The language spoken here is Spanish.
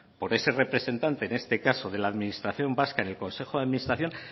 por ese representante en este caso de la administración vasca en el consejo de administración